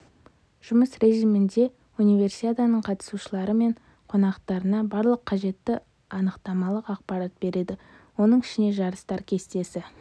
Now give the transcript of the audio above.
жұмыс режімінде универсиаданың қатысушылары мен қонақтарына барлық қажетті анықтамалық ақпарат береді оның ішіне жарыстар кестесі